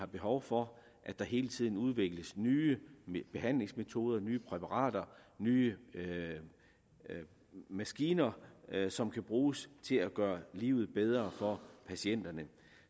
behov for der hele tiden udvikles nye behandlingsmetoder nye præparater nye maskiner som kan bruges til at gøre livet bedre for patienterne